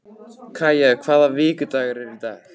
Kaja, hvaða vikudagur er í dag?